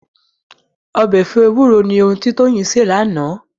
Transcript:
Ọbẹ̀ ẹ̀fọ́ ewúro ni ohun tí Toyin sè lánàá